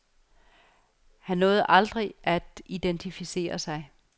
Han nåede aldrig at identificere sig.